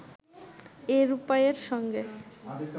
এই রূপাইয়ের সঙ্গে